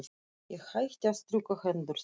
Ég hætti að strjúka hendur þínar.